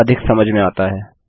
तो यह अधिक समझ में आता है